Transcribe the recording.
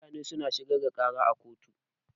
Mutane suna shigar da ƙara a kotu.